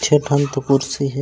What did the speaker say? छः ठन तो कुर्सी हे।